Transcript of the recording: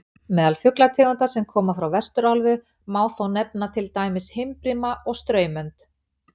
Meðal fuglategunda sem koma frá Vesturálfu má þó nefna til dæmis himbrima og straumönd.